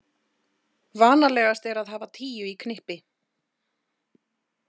Vanalegast er að hafa tíu í knippi.